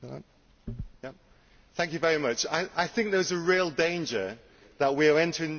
I think there is a real danger that we are entering into a period of aid fatigue.